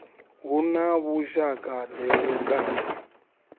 hu na vhushaka ḓe vhukati